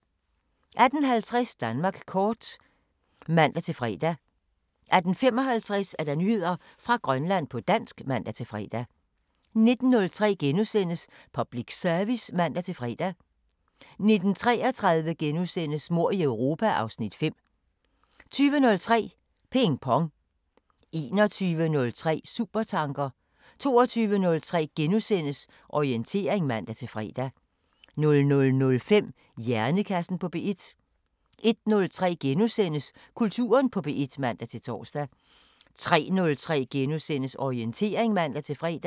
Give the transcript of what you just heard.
18:50: Danmark kort (man-fre) 18:55: Nyheder fra Grønland på dansk (man-fre) 19:03: Public Service *(man-fre) 19:33: Mord i Europa (Afs. 5)* 20:03: Ping Pong 21:03: Supertanker 22:03: Orientering *(man-fre) 00:05: Hjernekassen på P1 01:03: Kulturen på P1 *(man-tor) 03:03: Orientering *(man-fre)